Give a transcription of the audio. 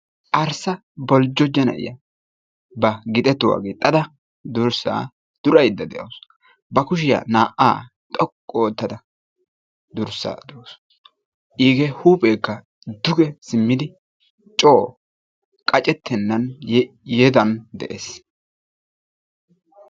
Arssa boljjoja na'iya ba gixetuwa gixxada durssa duraydda de'awus. Ba kushiya naa"a xoqqu oottada durssa durawus. Iige huuphekka duge simmidi coo qaccetennan yedan de'ees.